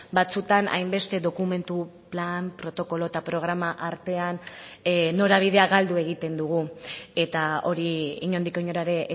batzuetan hainbeste dokumentu plan protokolo eta programa artean norabidea galdu egiten dugu eta hori inondik inora ere